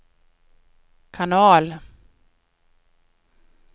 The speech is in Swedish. kanal